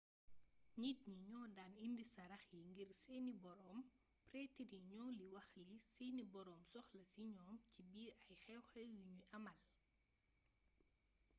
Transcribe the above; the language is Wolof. nit ñi ñoo daan indi sarax yi ngir seeni boroom pretre yi ñoo li wax li seeni boroom soxla ci ñoom ci biir ay xew-xew yu ñuy amal